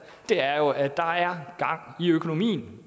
er at der er gang i økonomien